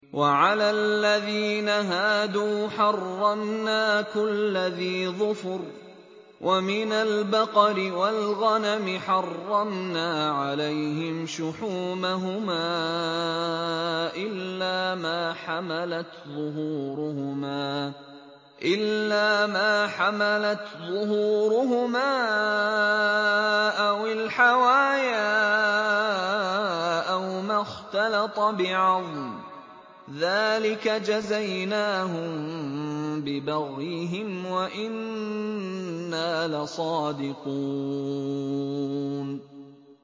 وَعَلَى الَّذِينَ هَادُوا حَرَّمْنَا كُلَّ ذِي ظُفُرٍ ۖ وَمِنَ الْبَقَرِ وَالْغَنَمِ حَرَّمْنَا عَلَيْهِمْ شُحُومَهُمَا إِلَّا مَا حَمَلَتْ ظُهُورُهُمَا أَوِ الْحَوَايَا أَوْ مَا اخْتَلَطَ بِعَظْمٍ ۚ ذَٰلِكَ جَزَيْنَاهُم بِبَغْيِهِمْ ۖ وَإِنَّا لَصَادِقُونَ